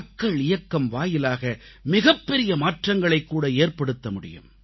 மக்கள் இயக்கம் வாயிலாக மிகப்பெரிய மாற்றங்களைக்கூட ஏற்படுத்த முடியும்